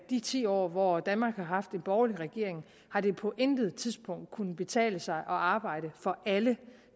de ti år hvor danmark har haft en borgerlig regering har det på intet tidspunkt kunne betale sig at arbejde for alle